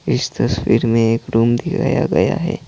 इस तस्वीर में एक रूम दिखाया गया है।